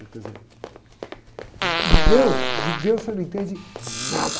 exemplo. Em, em deus, de deus você não entende nada.